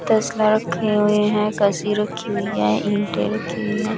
तसला रखे हुए हैं कस्सी रखी हुई है ईंटे रखे हुई है।